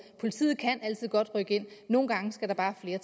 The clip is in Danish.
politiet kan altid godt rykke ind nogle gange skal der bare flere